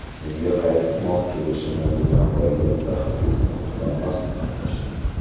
Sizga qaysisi mos kelishini do‘kondagi mutaxassislar bilan maslahatlashing.